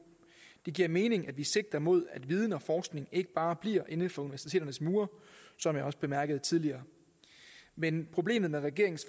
det giver mening at vi sigter mod at viden og forskning ikke bare bliver inden for universiteternes mure som jeg også bemærkede tidligere men problemet med regeringens